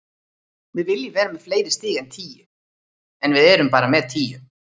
Við viljum vera með fleiri stig en tíu, en við erum bara með tíu.